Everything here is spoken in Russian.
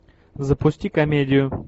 запусти комедию